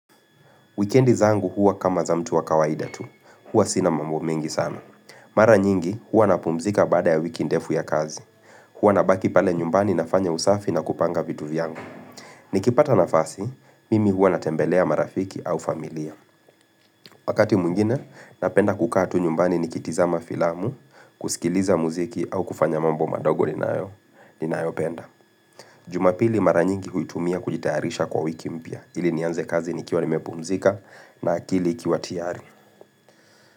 Wikendi zangu huwa kama za mtu wa kawaida tu. Huwa sina mambo mengi sana. Mara nyingi huwa napumzika baada ya wiki ndefu ya kazi. Huwa nabaki pale nyumbani nafanya usafi na kupanga vitu vyangu. Nikipata nafasi, mimi huwa natembelea marafiki au familia. Wakati mwengine, napenda kukaa tu nyumbani ni kitizama filamu, kusikiliza muziki au kufanya mambo madogo ninayo, ninayo penda. Jumapili mara nyingi huitumia kujitaharisha kwa wiki mpya. Hili nianze kazi nikia nimepumzika na akili ikiwa tiyari.